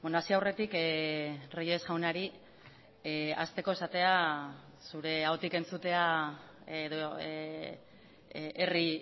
hasi aurretik reyes jaunari hasteko esatea zure ahotik entzutea edo herri